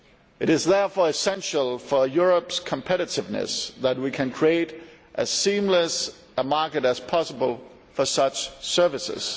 It is therefore essential for Europe's competitiveness that we create as seamless a market as possible for such services.